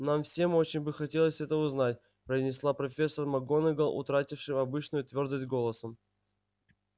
нам всем очень бы хотелось это узнать произнесла профессор макгонагалл утратившим обычную твёрдость голосом